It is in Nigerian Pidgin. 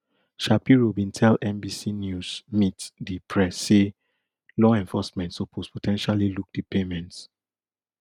shapiro bin tell nbc news meet di press say law enforcement suppose po ten tially look di payments